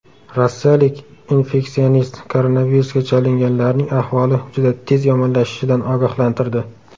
Rossiyalik infeksionist koronavirusga chalinganlarning ahvoli juda tez yomonlashishidan ogohlantirdi.